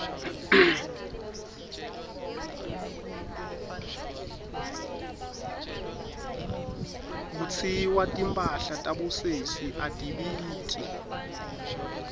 kutsiwa timphahla tabosesi atibiti